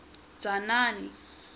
dzanani